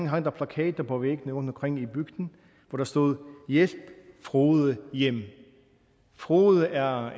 hang der plakater på væggene rundtomkring i bygden hvor der stod hjælp frode hjem frode er